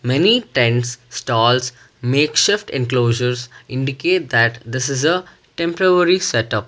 many tents stalls makeshift enclosures indicate that this is a temporary setup.